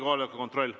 Kohaloleku kontroll.